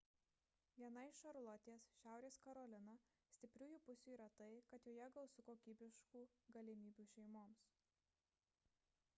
viena iš šarlotės šiaurės karolina stipriųjų pusių yra tai kad joje gausu kokybiškų galimybių šeimoms